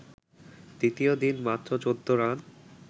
দ্বিতীয় দিন মাত্র ১৪ রান